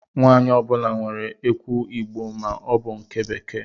Nwanyi ọ bula nwèrè ekwụ igbo ma ọ bu nke bekee.